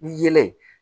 Ni yelen